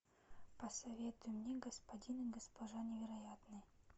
посоветуй мне господин и госпожа невероятные